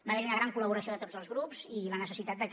va haver hi una gran col·laboració de tots els grups i la necessitat de que